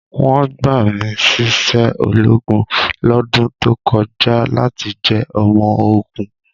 Wọ́n gbà mí síṣẹ́ ológun lọ́dún tó kọjá láti jẹ́ ọmọ ogun.